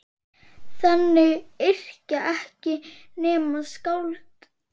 Þannig yrkja ekki nema skáld!